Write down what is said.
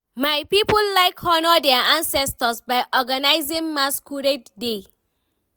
my people like honour their ancestors by organizing masquerade day.